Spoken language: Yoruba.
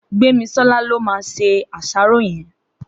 Gbemisola ló má sé àṣàró yèn